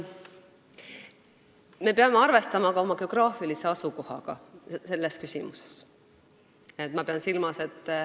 Me peame arvestama ka oma geograafilist asukohta.